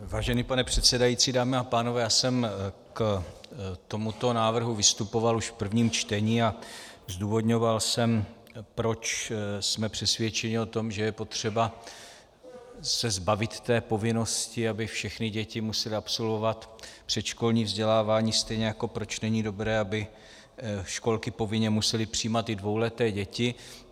Vážený pane předsedající, dámy a pánové, já jsem k tomuto návrhu vystupoval už v prvním čtení a zdůvodňoval jsem, proč jsme přesvědčeni o tom, že je potřeba se zbavit té povinnosti, aby všechny děti musely absolvovat předškolní vzdělávání, stejně jako proč není dobré, aby školky povinně musely přijímat i dvouleté děti.